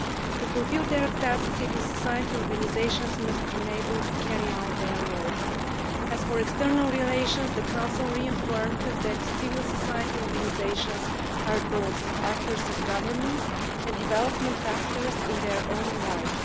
To fulfil their task civil society organisations must be enabled to carry out their work. As for external relations, the Council reaffirmed that civil society organisations are both actors of governance and development actors in their own right.